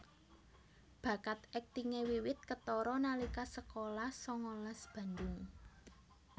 Bakat aktingé wiwit ketara nalika sekolah sangalas Bandung